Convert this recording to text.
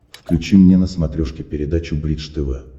включи мне на смотрешке передачу бридж тв